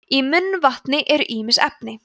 í munnvatni eru ýmis efni